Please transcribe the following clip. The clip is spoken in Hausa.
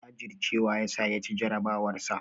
Jajurcewa yasa ya ci jarabawarsa.